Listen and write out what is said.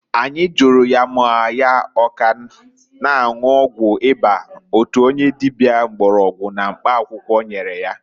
Anyi juru ya maọbụ ya ka na-anwụ ọgwụ ịba (ọgwụ akịrị) otu onye dịbịa mgbọrọgwụ na mkpa akwụkwọ nyere ya?